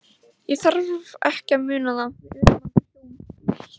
Ég þarf ekki að muna það- við urðum aldrei hjón.